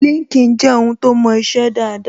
LinkedIn je ohun to mo ise daada